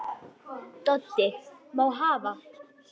Þeir voru fjarri þennan daginn.